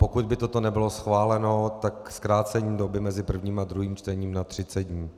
Pokud by toto nebylo schváleno, tak zkrácení doby mezi prvním a druhým čtením na 30 dní.